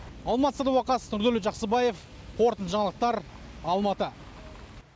алмас садуақас нұрдәулет жақсыбаев қорытынды жаңалықтар алматы